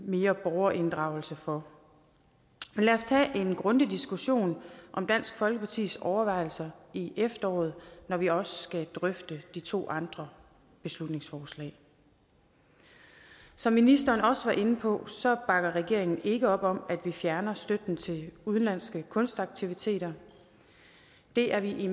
mere borgerinddragelse for men lad os tage en grundig diskussion om dansk folkepartis overvejelser i efteråret når vi også skal drøfte de to andre beslutningsforslag som ministeren også var inde på bakker regeringen ikke op om at vi fjerner støtten til udenlandske kunstaktiviteter det er vi